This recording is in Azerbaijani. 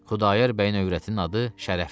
Xudayar bəyin övrətinin adı Şərəfdir.